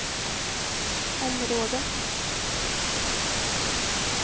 område